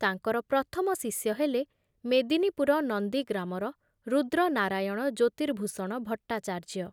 ତାଙ୍କର ପ୍ରଥମ ଶିଷ୍ୟ ହେଲେ ମେଦିନୀପୁର ନନ୍ଦୀଗ୍ରାମର ରୁଦ୍ର ନାରାୟଣ ଜ୍ୟୋତିର୍ଭୂଷଣ ଭଟ୍ଟାଚାର୍ଯ୍ୟ ।